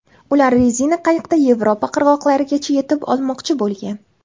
Ular rezina qayiqda Yevropa qirg‘oqlarigacha yetib olmoqchi bo‘lgan.